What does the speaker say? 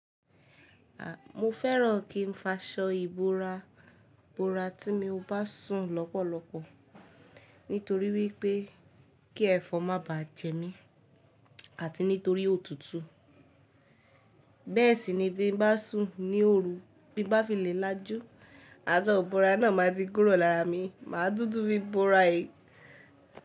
A, mo fẹ́ràn kí n fa ṣọ ìbora, bora tí mi bá sùn lọ́pọ̀lọpọ̀ nítorí wípé kí ẹ̀fọn má báà jẹ mí àti nítorí òtútù. Bẹ́ẹ̀ sì ni bí n bá sùn ní òru, bí n bá fi lè lájú, aṣọ ìbora náà máa ti kúrò lára mi, màá túntú bí bora e.